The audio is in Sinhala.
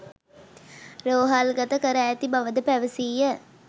රෝහල්ගත කර ඇති බවද පැවසීය